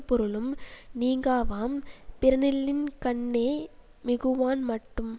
பொருளும் நீங்காவாம் பிறனில்லின்கண்ணே மிகுவான் மட்டும்